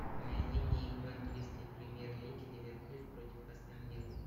найди мне игру английской премьер лиги ливерпуль против астон виллы